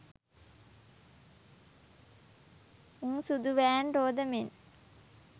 උං සුදු වෑන් රෝද මෙන්